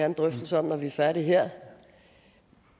en drøftelse om når vi er færdige her